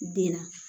Den na